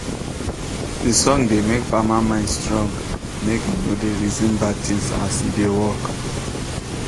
de song da make farmer mind strong make he no da reason bad thing as he da work